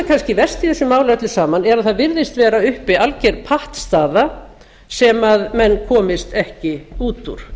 kannski verst í þessu máli öllu saman er að það virðist vera uppi alger pattstaða sem menn komist ekki út úr